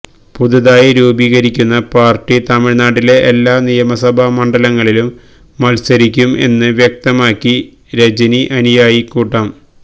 പുതുതായി രൂപികരിയ്ക്കുന്ന പാർട്ടി തമിഴ്നാട്ടിലെ എല്ലാ നിയമസഭാ മണ്ഡലങ്ങളിലും മത്സരിയ്ക്കും എന്ന് വ്യക്തമാക്കി രജനി അനുയായി കൂട്ടം